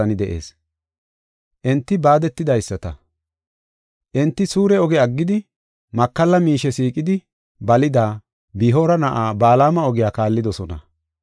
Enti suure oge aggidi, makalla miishe siiqidi balida, Bi7oora na7aa Balaama ogiya kaallidosona.